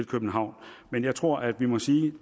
københavn men jeg tror at vi må sige